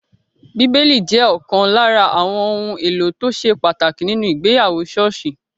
Bíbélì jẹ́ ọ̀kan lára àwọn ohun èlò tó ṣe pàtàkì nínu ìgbéyàwó ṣọ́ọ̀ṣì